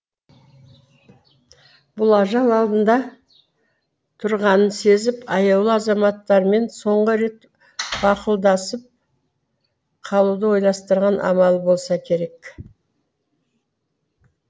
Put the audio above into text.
бұл ажал алдында тұрғанын сезіп аяулы азаматтармен соңғы рет бақұлдасып қалуды ойластырған амалы болса керек